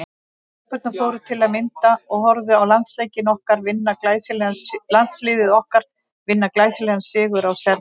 Stelpurnar fóru til að mynda og horfðu á landsliðið okkar vinna glæsilegan sigur á Serbum.